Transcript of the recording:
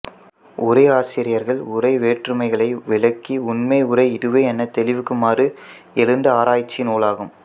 உரையாசிரியர்கள் உரை வேற்றுமைகளை விளக்கி உண்மை உரை இதுவே எனத் தெளிவிக்குமாறு எழுந்த ஆராய்ச்சி நூலாகும்